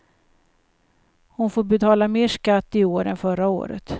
Hon får betala mer skatt i år än förra året.